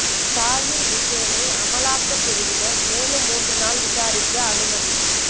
தாஹிா் ஹுசேனை அமலாக்கப் பிரிவினா் மேலும் மூன்று நாள் விசாரிக்க அனுமதி